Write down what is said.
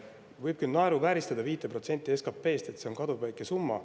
Võib küll naeruvääristada 5% SKT‑st, et see on kaduvväike summa.